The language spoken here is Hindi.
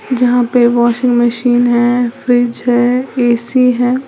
जहां पे वाशिंग मशीन है। फ्रिज है। ए_सी है।